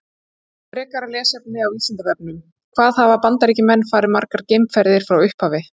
Frekara lesefni á Vísindavefnum: Hvað hafa Bandaríkjamenn farið margar geimferðir frá upphafi?